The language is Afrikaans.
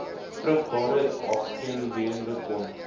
vrugbaar aangewend kon